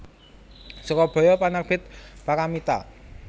Surabaya Penerbit Paramitha